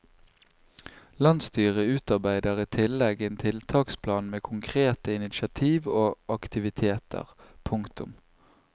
Landsstyret utarbeider i tillegg en tiltaksplan med konkrete initiativ og aktiviteter. punktum